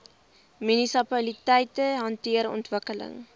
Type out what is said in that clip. munisipaliteite hanteer ontwikkeling